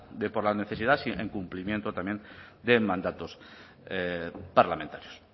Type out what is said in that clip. de por la necesidad en cumplimiento también de mandatos parlamentarios